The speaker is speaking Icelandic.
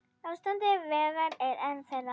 Ástand vega er ein þeirra.